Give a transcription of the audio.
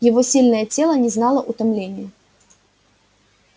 его сильное тело не знало утомления